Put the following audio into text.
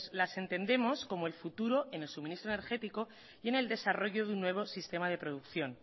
las entendemos como el futuro en el suministro energético y en el desarrollo de un nuevo sistema de producción